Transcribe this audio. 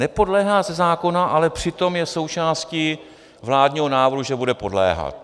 Nepodléhá ze zákona, ale přitom je součástí vládního návrhu, že bude podléhat.